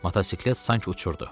Motosiklet sanki uçurdu.